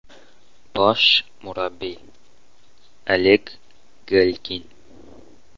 Bosh murabbiy: Oleg Galkin.